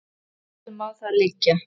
Vel má það liggja.